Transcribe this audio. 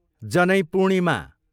जनै पूर्णिमा